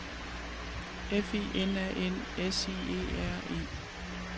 F I N A N S I E R E